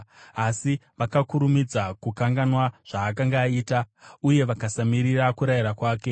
Asi vakakurumidza kukanganwa zvaakanga aita, uye vakasamirira kurayira kwake.